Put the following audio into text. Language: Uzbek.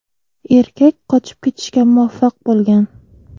Erkak qochib ketishga muvaffaq bo‘lgan.